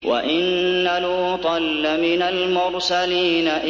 وَإِنَّ لُوطًا لَّمِنَ الْمُرْسَلِينَ